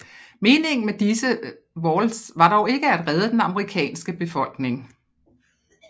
Meningen med disse vaults var dog ikke at redde den amerikanske befolkning